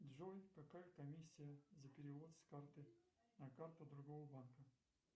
джой какая комиссия за перевод с карты на карту другого банка